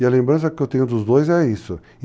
E a lembrança que eu tenho dos dois é isso.